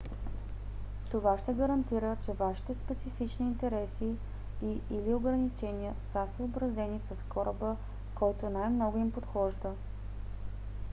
това ще гарантира че вашите специфични интереси и/или ограничения са съобразени с кораба който най-много им подхожда